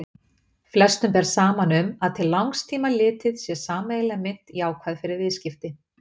Langflestum ber saman um að til langs tíma litið sé sameiginleg mynt jákvæð fyrir viðskipti.